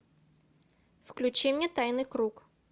включи мне тайный круг